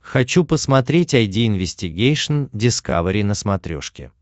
хочу посмотреть айди инвестигейшн дискавери на смотрешке